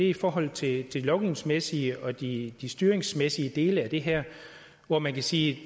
i forhold til de lovgivningsmæssige og de de styringsmæssige dele af det her hvor man kan sige